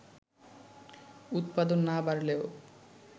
উৎপাদন না বাড়লেও